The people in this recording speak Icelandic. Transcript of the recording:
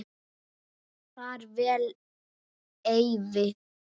Far vel, Eyvi.